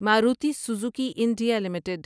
Maruti Suzuki India limited